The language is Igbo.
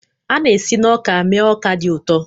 A na-esi na ọka mee ọka dị ụtọ.